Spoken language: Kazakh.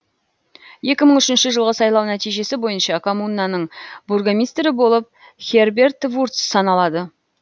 екі мың үшінші жылғы сайлау нәтижесі бойынша коммунаның бургомистрі болып херберт вурц саналады